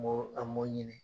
N b'o , an b'o ɲini.